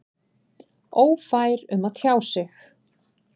Ófær um að tjá sig?